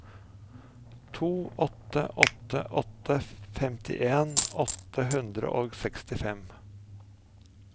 to åtte åtte åtte femtien åtte hundre og sekstifem